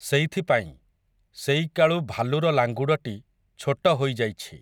ସେଇଥିପାଇଁ, ସେଇକାଳୁ ଭାଲୁର ଲାଙ୍ଗୁଡ଼ଟି, ଛୋଟ ହୋଇଯାଇଛି ।